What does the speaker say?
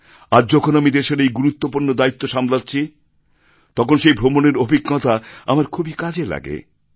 আজ যখন আমি দেশের এই গুরত্বপূর্ণ দায়িত্ব সামলাচ্ছি তখন সেই ভ্রমণের অভিজ্ঞতা আমার খুবই কাজে লাগে